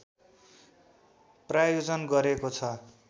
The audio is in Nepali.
प्रायोजन गरेको छ